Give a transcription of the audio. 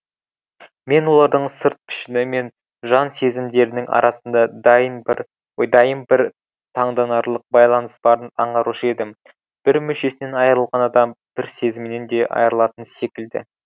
мен олардың сырт пішіні мен жан сезімдерінің арасында дайым бір таңданарлық байланыс барын аңғарушы едім бір мүшесінен айрылған адам бір сезімінен де айырылатын секілді